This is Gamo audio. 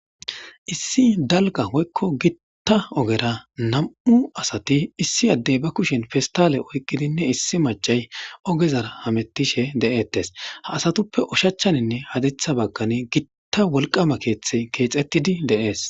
issi dalga hoykko gitta ogera nam7u asati issi addey ba kushin festale oyqidinne issi machay ogezar hamettishe de7ettes ha asatuppe ushachchaninne hadetha baggani gitta wolqama keeththe keexettidi deees